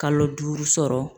Kalo duuru sɔrɔ.